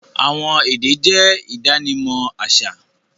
Awọn èdè jẹ̀ idànímọ̀ aṣa